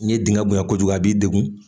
N'i ye dingɛ bonyan kojugu a b'i degun